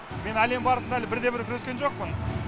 мен әлем барысына әлі бірде бір күрескен жоқпын